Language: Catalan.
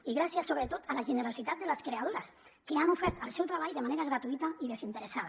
i gràcies sobretot a la generositat de les creadores que han ofert el seu treball de manera gratuïta i desinteressada